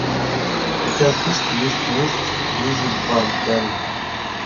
у тебя в списке есть месть лиззи борден